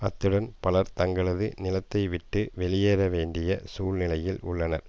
அத்துடன் பலர் தங்களது நிலத்தைவிட்டு வெளியேற வேண்டிய சூழ்நிலையில் உள்ளனர்